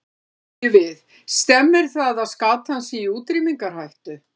Því spyrjum við, stemmir það að skatan sé í útrýmingarhættu?